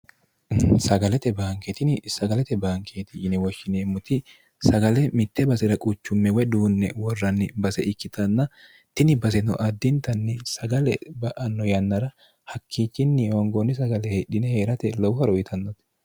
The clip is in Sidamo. sagalete baanke tini sagalete baankeeti yine woshshineemmoti sagale mitte basera quchumme woy duunne worranni base ikkitanna tini baseno addintanni sagale ba'anno yannara hakkiichinni hoongoonni sagale hedhine hee'rate lowo horo uyitannote